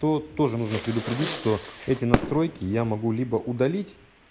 то тоже нужно предупредить что эти настройки я могу либо удалить